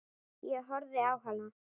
Ég horfði á hana.